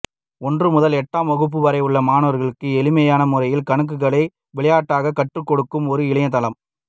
ஒன்று முதல் எட்டாம் வகுப்பு வரை உள்ள மாணவர்களுக்கு எளிமையான முறையில் கணக்குகளை விளையாட்டாக கற்றுக்கொடுக்கும் ஒரு இணையதளம்